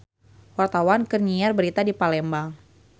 Wartawan keur nyiar berita di Palembang